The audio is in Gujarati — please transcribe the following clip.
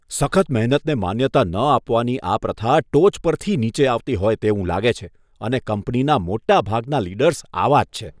સખત મહેનતને માન્યતા ન આપવાની આ પ્રથા ટોચ પરથી નીચે આવતી હોય તેવું લાગે છે અને કંપનીના મોટાભાગના લીડર્સ આવા જ છે.